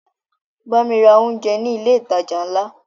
Bámi ra oúnjẹ ní ilé ìtajà ńlá!